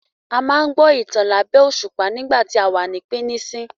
A máa n gbọ́ ìtàn labẹ̀ẹ̀ òṣùpá nígbà tí àwa ní píníṣín